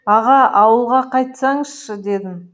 аға ауылға қайтсаңызшы дедім